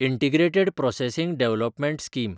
integrated processing development scheme